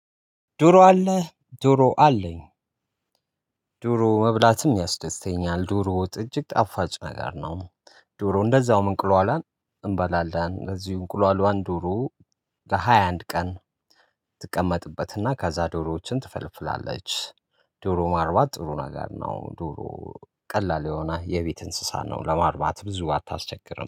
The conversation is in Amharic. ዶሮ አለ ዶሮ አለኝ። ዶሮ መብላትም ያስደስተኛል ዶሮ ወጥ እጅግ ጣፋጭ ነገር ነው። ዶሮ እንደዛውም እንቁሏሏን እንበላለን እንደዚሁ እንቁሏሏን ዶሮ ለሃያ አንድ ቀን ትቀመጥበትና ከዛ ዶሮዎችን ትፈልፍላለች። ዶሮ ማርባት ጥሩ ነገር ነው። ዶሮ ቀላል የሆነ የቤት እንስሳን ነው ለማርባት ብዙ አታስቸግርም